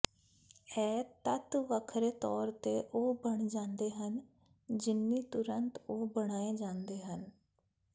ਇਹ ਤੱਤ ਵੱਖਰੇ ਤੌਰ ਤੇ ਉਹ ਬਣ ਜਾਂਦੇ ਹਨ ਜਿੰਨੀ ਤੁਰੰਤ ਉਹ ਬਣਾਏ ਜਾਂਦੇ ਹਨ